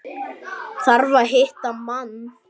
Þarf að hitta mann.